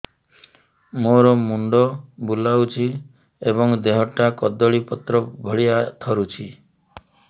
ମୋର ମୁଣ୍ଡ ବୁଲାଉଛି ଏବଂ ଦେହଟା କଦଳୀପତ୍ର ଭଳିଆ ଥରୁଛି